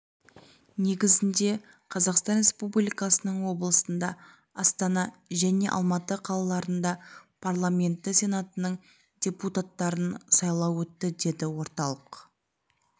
негізінде қазақстан республикасының облысында астана және алматы қалаларында парламенті сенатының депутаттарын сайлау өтті деді орталық